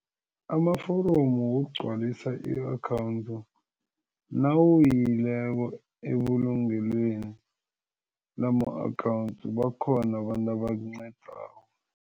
Amaforomo wokugcwalisa i-akhawundi nawuyileko ebulungelweni lama-akhawundi bakhona abantu abakunqedako.